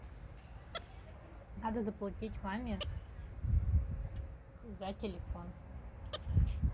надо заплатить маме за телефон